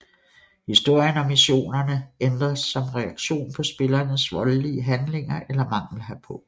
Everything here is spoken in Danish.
Historien og missionerne ændres som reaktion på spillerens voldelige handlinger eller mangel herpå